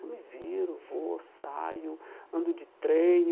Eu me viro, vou, saio, ando de trem.